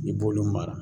I b'olu mara